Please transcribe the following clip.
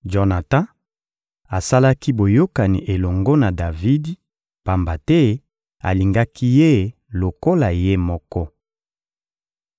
Jonatan asalaki boyokani elongo na Davidi, pamba te alingaki ye lokola ye moko.